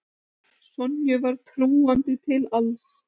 Sonju var trúandi til alls.